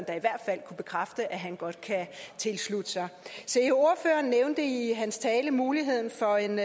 kunne bekræfte at han godt kan tilslutte sig se ordføreren nævnte i sin tale muligheden for en